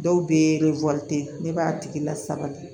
Dɔw bɛ ye ne b'a tigi lasabali